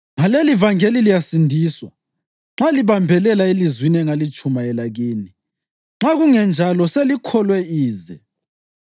Ngalelivangeli liyasindiswa, nxa libambelela elizwini engalitshumayela kini. Nxa kungenjalo, selikholwe ize.